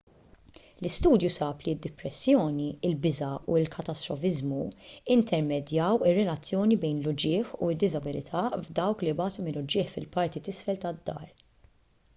l-istudju sab li d-dipressjoni il-biża' u l-katastrofiżmu intermedjaw ir-relazzjoni bejn l-uġigħ u d-diżabilità f'dawk li jbatu minn uġigħ fil-parti t'isfel tad-dahar